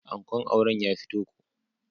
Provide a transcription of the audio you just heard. Ankon auren ya fito ko.